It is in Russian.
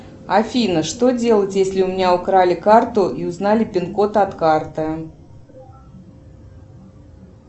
афина что делать если у меня украли карту и узнали пин код от карты